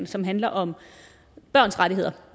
som handler om børns rettigheder